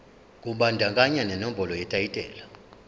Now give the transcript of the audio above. kubandakanya nenombolo yetayitela